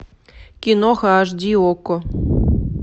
киноха аш ди окко